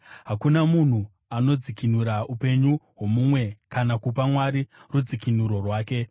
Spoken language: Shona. Hakuna munhu angadzikinura upenyu hwomumwe kana kupa Mwari rudzikinuro rwake,